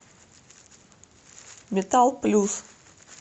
металл плюс